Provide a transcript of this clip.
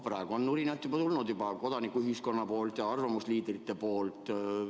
Praegu on juba tulnud nurinat kodanikuühiskonna seast ja arvamusliidrite seast.